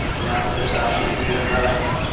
जहाँ पे काफ़ी भीड़-भाड़ हैं।